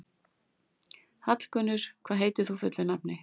Hallgunnur, hvað heitir þú fullu nafni?